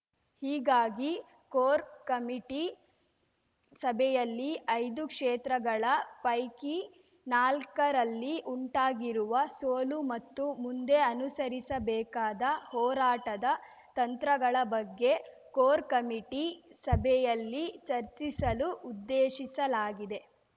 ಹೀಗಾಗಿ core committee ಸಭೆಯಲ್ಲಿ ಐದು ಕ್ಷೇತ್ರಗಳ ಪೈಕಿ ನಾಲ್ಕರಲ್ಲಿ ಉಂಟಾಗಿರುವ ಸೋಲು ಮತ್ತು ಮುಂದೆ ಅನುಸರಿಸಬೇಕಾದ ಹೋರಾಟದ ತಂತ್ರಗಳ ಬಗ್ಗೆ ಕೋರ್‌ ಕಮಿಟಿ ಸಭೆಯಲ್ಲಿ ಚರ್ಚಿಸಲು ಉದ್ದೇಶಿಸಲಾಗಿದೆ